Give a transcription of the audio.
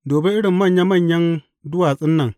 Dubi irin manya manyan duwatsun nan!